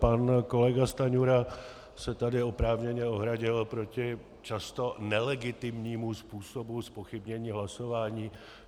Pan kolega Stanjura se tady oprávněně ohradil proti často nelegitimnímu způsobu zpochybnění hlasování.